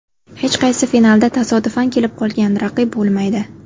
Hech qaysi finalda tasodifan kelib qolgan raqib bo‘lmaydi”.